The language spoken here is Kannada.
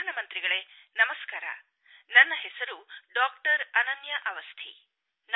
ಪ್ರಧಾನಮಂತ್ರಿಗಳೇ ನಮಸ್ಕಾರ ನನ್ನ ಹೆಸರು ಡಾಕ್ಟರ್ ಅನನ್ಯಾ ಅವಸ್ಥಿ